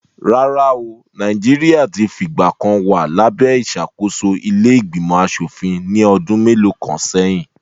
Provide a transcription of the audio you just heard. Rárá o, Nàìjíríà ti fìgbà kan wa labe ìṣàkóso ilé ìgbìmọ̀ aṣòfin ní ọdún mélòó kan sẹ́yìn